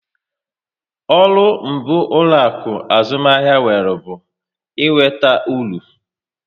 Ọrụ mbụ ụlọaku azụmahịa nwere bụ ị nweta uru